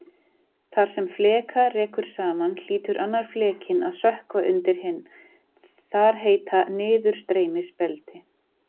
Þar sem fleka rekur saman hlýtur annar flekinn að sökkva undir hinn- þar heita niðurstreymisbelti.